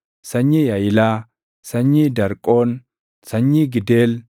sanyii Yaʼilaa, sanyii Darqoon, sanyii Gideel,